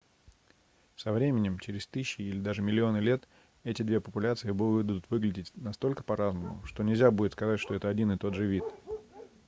со временем через тысячи или даже миллионы лет эти две популяции будут выглядеть настолько по-разному что нельзя будет сказать что это один и тот же вид